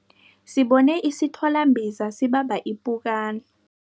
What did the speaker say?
Sibone isithwalambiza sibamba ipukani.